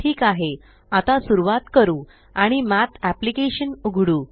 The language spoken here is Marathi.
ठीक आहे आता सुरवात करू आणि मठ एप्लिकेशन उघडू